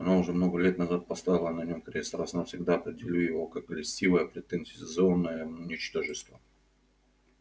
она уже много лет назад поставила на нем крест раз и навсегда определив его как льстивое претенциозное ничтожество